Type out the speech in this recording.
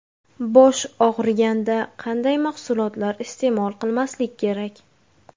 Bosh og‘riganda qanday mahsulotlar iste’mol qilmaslik kerak?